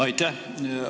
Aitäh!